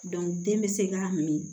den bɛ se k'a min